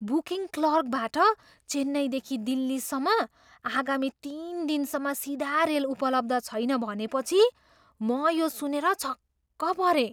Booking क्लर्कबाट चेन्नईदेखि दिल्लीसम्म आगामी तिन दिनसम्म सिधा रेल उपलब्ध छैन भनेपछि म यो सुनेर छक्क परेँ।